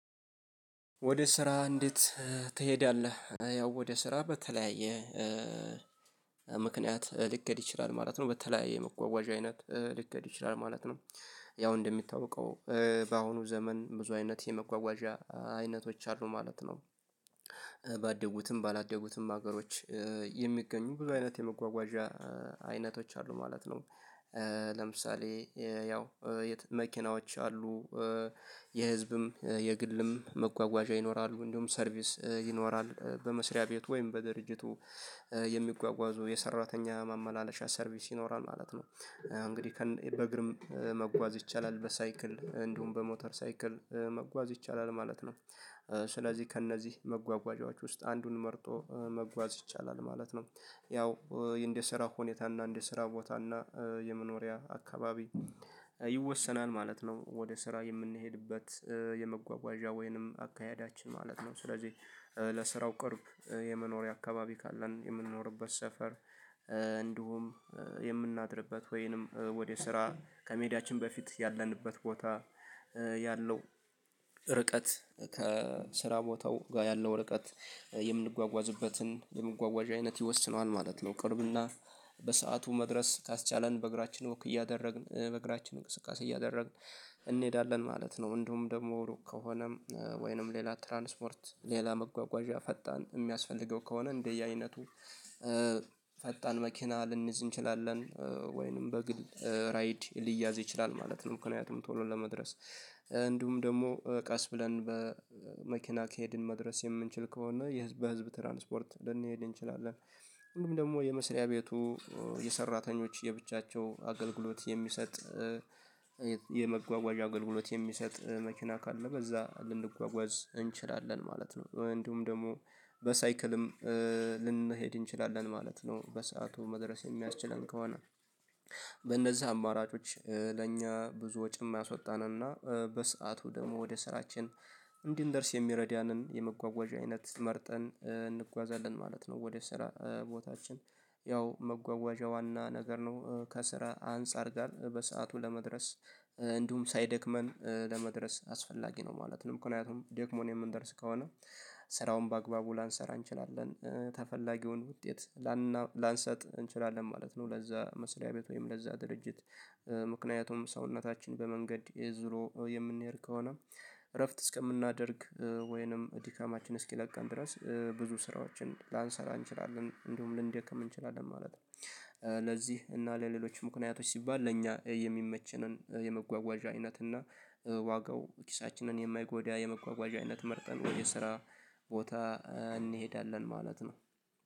ወደ ስራ እንዴት ትሄዳለህ ያው ወደ ስራ በተለያየ ምክንያት ሊኬድ ይችላል ማለት ነው በተለያየ የመጓጓዣ አይነት ሊኬድ ይችላል ማለት ነው። ያው እንደሚታወቀው በአሁኑ ዘመን ብዙ አይነት የመጓጓዣ አይነቶች አሉ ማለት ነው። ባደጉትም ባላደጉትም ሀገሮች የሚገኙ ብዙ አይነት የመጓጓዣ አይነቶች አሉ ማለት ነው። ለምሳሌ ያው መኪናዎች አሉ። የህዝብም የግልም መጓጓዣ ይኖራሉ እንደውም ሰርቪስ ይኖራል በመስሪያ ቤት ወይም በድርጅቱ የሚጓጓዙ የሰራተኛ ማመላለሻ ሰርቪስ ይኖራል ማለት ነው። እንግዲህ በእግርም መጓዝ ይቻላል በሳይክል እንዲሁም በሞተር ሳይክል መጓዝ ይቻላል ማለት ነው። ስለዚህ ከእነዚህ መጓጓዣዎች ውስጥ አንዱን መርጦ መጓዝ ይቻላል ማለት ነው። ያው እንደ ስራ ሁኔታ እና እንደ ስራ ቦታ እና የመኖሪያ አካባቢ ይወሰናል ማለት ነው ወደ ስራ የምንሄድበት የመጓጓዣ ወይንም አካሄዳችን ማለት ነው። ስለዚህ ለስራው ቅርብ የመኖሪያ አካባቢ ካለን የምንኖርበት ሰፈር እንዲሁም የምናድርበት ወይንም ወደ ስራ ከመሄዳችን በፊት ያለንበት ቦታ ያለው ርቀት ከስራ ቦታው ጋር ያለው ርቀት የምንጓጓዝበትን የመጓጓዣ አይነት ይወስነዋል ማለት ነው። ቅርብና በሰአቱ መድረስ ካስቻለን በእግራችን ወክ እያደረግን በእግራችን እንቅስቃሴ እያደረግን እንሄዳለን ማለት ነው። እንዲሁም ደግሞ ሩቅ ከሆነም ወይንም ሌላ ትራንስፖርት ሌላ መጓጓዣ ፈጣን የሚያስፈልገው ከሆነ እንደየአይነቱ ፈጣን መኪና ልንይዝ እንችላለን ወይንም በግል ራይድ ሊያዝ ይችላል ማለት ነው። ምክንያቱም ቶሎ ለመድረስ እንዲሁም ደግሞ ቀስ ብለን በመኪና ከሄድን መድረስ የምንችል ከሆነ በህዝብ ትራንስፖርት ልንሄድ እንችላለን። ሁሉም ደግሞ የመስሪያ ቤቱ የሰራተኞች የብቻቸው አገልግሎት የሚሰጥ የመጓጓዣ አገልግሎት የሚሰጥ መኪና ካለ በዛ ልንጓጓዝ እንችላለን ማለት ነው። እንዲውም ደግሞ በሳይክልም ልንሄድ እንችላለን ማለት ነው። በሰአቱ መድረስ የሚያስችለን ከሆነ በእነዚህ አማራጮች ለእኛ ብዙ ወጪ የማያስወጣንና በሰአቱ ደግሞ ወደ ስራችን እንድንደርስ የሚረዳንን የመጓጓዣ አይነት መርጠን እንጓዛለን ማለት ነው። ወደ ስራ ቦታችን ያው መጓጓዣ ዋና ነገር ነው ከስራ አንፃር ጋር በሰአቱ ለመድረስ እንዲሁም ሳይደክመን ለመድረስ አስፈላጊ ነው ማለት ነው። ምክንያቱም ደክሞን የምንደርስ ከሆነ ስራውን በአግባቡ ላንሰራ እንችላለን ተፈላጊውን ውጤት ላንሰጥ እንችላለን ማለት ነው። ለዛ መስሪያ ቤት ወይም ለዛ ድርጅት ምክንያቱም ሰውነታችን በመንገድ ዝሎ የምንሄድ ከሆነ እረፍት እስከምናደርግ ወይንም ድካማችን እስኪለቀን ድረስ ብዙ ስራዎችን ላንሰራ እንችላለን እንዲውም ልንደክም እንችላለን ማለት ነው። ለዚህ እና ለሌሎች ምክንያቶች ሲባል ለኛ የሚመቸንን የመጓጓዣ አይነት እና ዋጋው ኪሳችንን የማይጎዳ የመጓጓዣ አይነት መርጠን ወይ የስራ ቦታ እንሄዳለን ማለት ነው